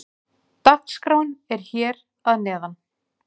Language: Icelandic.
Dagskráin er hér að neðan.